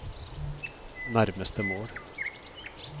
nærmeste mål